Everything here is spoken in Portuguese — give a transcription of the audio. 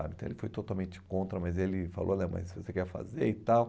ah, então ele foi totalmente contra, mas ele falou, né, mas você quer fazer e tal.